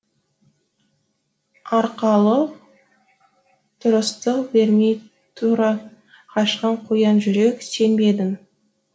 арқалық тұрыстық бермей тұра қашқан қоян жүрек сен бе едің